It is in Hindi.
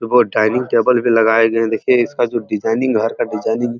उधर डाइनिंग टेबल भी लगाए गए हैं। देखिये इसका जो डिजाइनिंग घर का डिजाइनिंग --